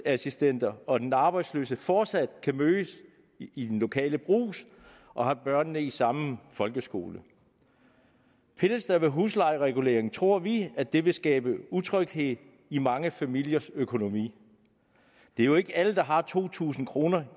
assistenter og den arbejdsløse fortsat kan mødes i den lokale brugs og have børnene i samme folkeskole pilles der ved huslejereguleringen tror vi at det vil skabe utryghed i mange familiers økonomi det er jo ikke alle der har to tusind kroner